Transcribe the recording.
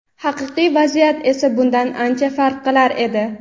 Haqiqiy vaziyat esa bundan ancha farq qilar edi.